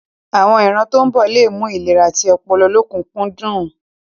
Àwon ìran tó ń bọ̀ le mú ìlera ti ọpọlọ lọ́kùnkúndùn.